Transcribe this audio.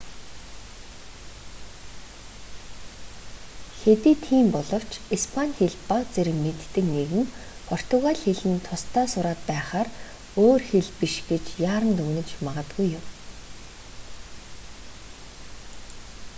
хэдий тийм боловч испани хэл бага зэрэг мэддэг нэгэн португали хэл нь тусдаа сураад байхаар өөр хэл биш гэж яаран дүгнэж магадгүй юм